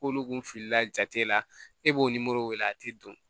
K'olu kun filila jate la e b'o wele a ti don